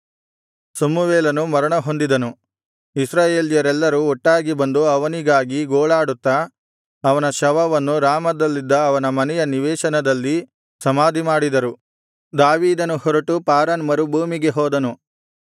ಸಮುವೇಲನು ಮರಣಹೊಂದಿದನು ಇಸ್ರಾಯೇಲ್ಯರೆಲ್ಲರೂ ಒಟ್ಟಾಗಿ ಬಂದು ಅವನಿಗಾಗಿ ಗೋಳಾಡುತ್ತಾ ಅವನ ಶವವನ್ನು ರಾಮದಲ್ಲಿದ್ದ ಅವನ ಮನೆಯ ನಿವೇಶನದಲ್ಲಿ ಸಮಾಧಿಮಾಡಿದರು ದಾವೀದನು ಹೊರಟು ಪಾರಾನ್ ಮರುಭೂಮಿಗೆ ಹೋದನು